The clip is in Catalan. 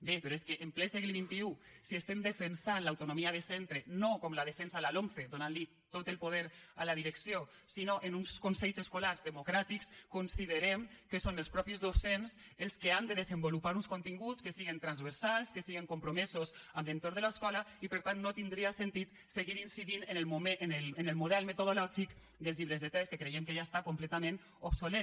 bé però és que en ple segle xxi si estem defensant l’autonomia de centre no com la defensa la lomce donant li tot el poder a la direcció sinó en uns consells escolars democràtics considerem que són els mateixos docents els que han de desenvolupar uns continguts que siguin transversals que siguin compromesos amb l’entorn de l’escola i per tant no tindria sentit seguir incidint en el model metodològic dels llibres de text que creiem que ja està completament obsolet